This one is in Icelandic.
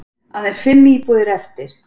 Aðeins fimm íbúðir eftir